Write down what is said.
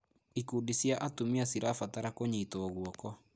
Ikundi cia atumia cirabatara kũnyitwo guoko.